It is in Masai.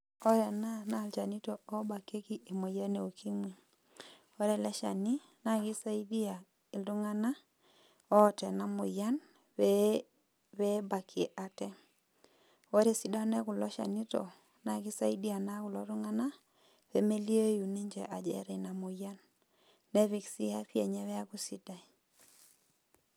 Ore ena, naa ilchanito obakieki emoyian e ukimwi. Ore ele shani, na kisaidia iltung'anak oota enamoyian pee ebakie ate. Ore esidano ekulo shanito, naa kisaidia naa kulo tung'anak, pemelioi ninche ajo eta ina moyian. Nepik si afya enye peeku sidai.